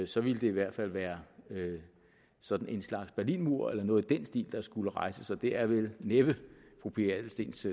så ville det i hvert fald være sådan en slags berlinmur eller noget i den stil der skulle rejses og det er vel næppe fru pia adelsteens